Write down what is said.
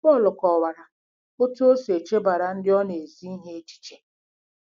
Pọl kọwara otú o si echebara ndị ọ na-ezi ihe echiche.